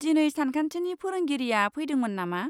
दिनै सानखान्थिनि फोरोंगिरिआ फैदोंमोन नामा?